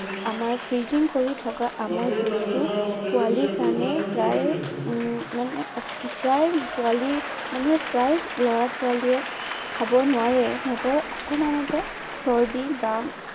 আমাৰ freezing কৰি থকা আমৰ juice টো পোৱালীৰ কাৰনে প্ৰায়ে উম মানে প্ৰায়ে পোৱালীৰ মানুহে প্ৰায়েই লৰা ছোৱালীয়ে খাব নোৱাৰে। সিহঁতৰ অকনমানতে চৰ্দি বা